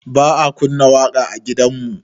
Ba a kunna waƙa a gidanmu